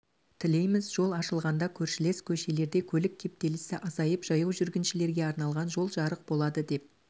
тілейміз жол ашылғанда көршілес көшелерде көлік кептелісі азайып жаяу жүргіншілерге арналған жол жарық болады деп